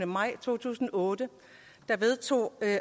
maj to tusind og otte vedtog